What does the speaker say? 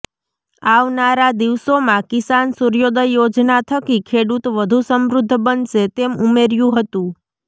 આવનારા દિવસોમાં કિસાન સૂર્યોદય યોજના થકી ખેડૂત વધુ સમૃદ્ધ બનશે તેમ ઉમેર્યુ હતું